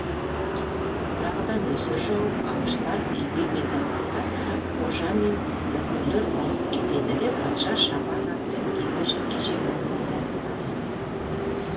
тағы да нөсер жауып аңшылар үйге бет алғанда қожа мен нөкерлер озып кетеді де патша шабан атпен үйге жеткенше малмандай болады